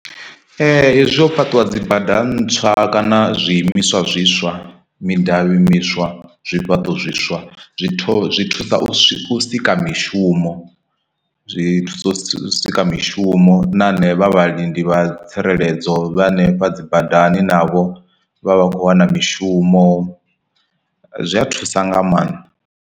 Hezwi ho fhaṱiwa dzibada ntswa kana zwiimiswa zwiswa, midavhi miswa, zwifhaṱo zwiswa, zwithu zwi thusa u sika mishumo zwi thusa u sika mishumo na ane vha vhalindi vha tsireledzo vha hanefha dzi badani navho vha vha khou wana mishumo zwi a thusa nga maanḓa.